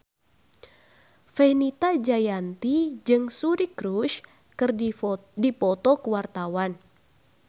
Fenita Jayanti jeung Suri Cruise keur dipoto ku wartawan